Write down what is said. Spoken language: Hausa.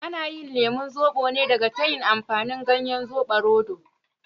Ana yin lemon zobo ne daga tayin amfani ganyen zubarodo.